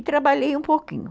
E trabalhei um pouquinho.